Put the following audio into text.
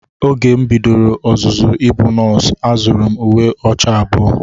Oge m bidoro ọzụzụ ịbụ nọọsụ, azụrụ m uwe ọcha abụọ.